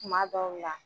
Kuma dɔw la